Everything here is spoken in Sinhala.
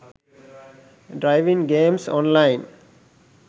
driving games online